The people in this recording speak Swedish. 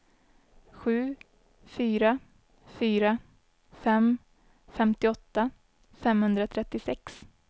sju fyra fyra fem femtioåtta femhundratrettiosex